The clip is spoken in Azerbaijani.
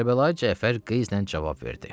Kərbəlayı Cəfər qeyzlə cavab verdi.